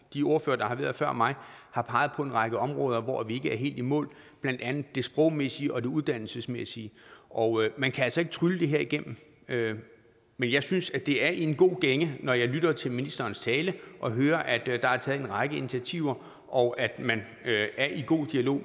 de ordførere der har været før mig har peget på en række områder hvor vi ikke er helt i mål blandt andet det sprogmæssige og det uddannelsesmæssige og man kan altså ikke trylle det her igennem men jeg synes det er i en god gænge når jeg lytter til ministerens tale og hører at der er taget en række initiativer og at man er i god dialog